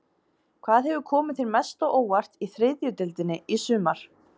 Hvað hefur komið þér mest á óvart í þriðju deildinni í sumar?